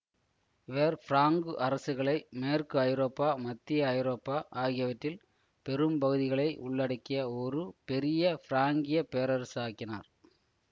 இவர் பிராங்கு அரசுகளை மேற்கு ஐரோப்பா மத்திய ஐரோப்பா ஆகியவற்றில் பெரும் பகுதிகளை உள்ளடக்கிய ஒரு பெரிய பிராங்கியப் பேரரசு ஆக்கினார்